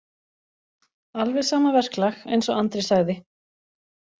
Alveg sama verklag, eins og Andri sagði.